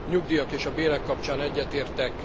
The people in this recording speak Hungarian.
A nyugdíjak és a bérek kapcsán egyetértek.